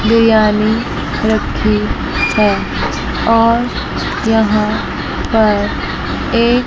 बिरियानी रखी है और यहाँ पर एक--